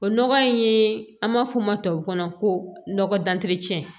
O nɔgɔ in ye an b'a fɔ o ma tubabu kan na ko nɔgɔ dancɛ